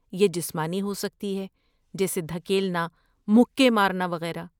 یہ جسمانی ہو سکتی ہے جیسے دھکیلنا، مکے مارنا وغیرہ۔